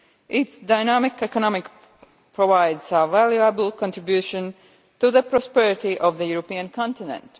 Its dynamic economy provides a valuable contribution to the prosperity of the European continent.